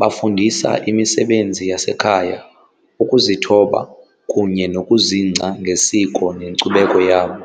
bafundisa imisebenzi yasekhaya, ukuzithoba kunye nokuzingca ngesiko nenkcubeko yabo.